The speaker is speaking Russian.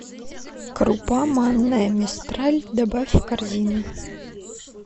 крупа манная мистраль добавь в корзину